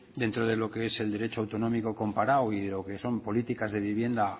dentro de lo que es el derecho autonómico comparado o que son políticas de vivienda